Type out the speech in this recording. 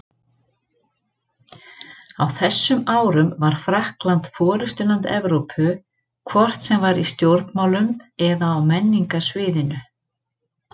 Á þessum árum var Frakkland forystuland Evrópu, hvort sem var í stjórnmálum eða á menningarsviðinu.